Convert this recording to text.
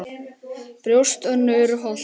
Brjóst Önnu er holt.